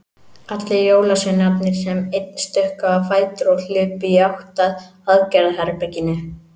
Allir jólasveinarnir sem einn stukku á fætur og hlupu í átt að aðgerðaherberginu.